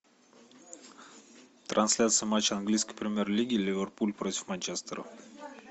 трансляция матча английской премьер лиги ливерпуль против манчестера